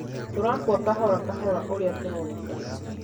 tũrakua kahorakahora ũrĩa kũronekana